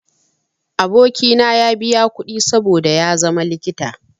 Aboki na ya biya kuɗi saboda ya zama likita.